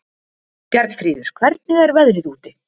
Bjarnfríður, hvernig er veðrið úti?